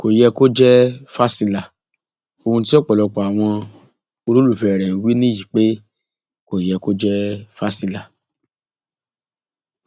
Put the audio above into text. kò yẹ kó jẹ fásilà ohun tí ọpọlọpọ àwọn olólùfẹ rẹ ń wí nìyí pé kò yẹ kó jẹ fásilà